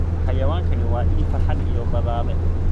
Xayawaankani waa il farxad iyo badhaadhe.